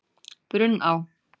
Brunná